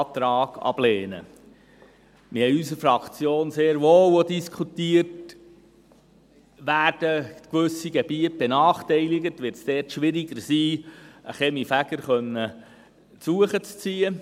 Wir haben in unserer Fraktion sehr wohl auch diskutiert, ob gewisse Gebiete benachteiligt werden, ob es dort schwieriger sein wird, einen Kaminfeger beizuziehen.